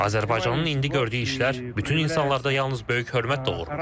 Azərbaycanın indi gördüyü işlər bütün insanlarda yalnız böyük hörmət doğurur.